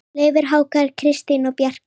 Leifur, Hákon, Kristín og Bjarni.